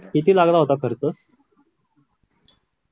किती लागणार होता खर्च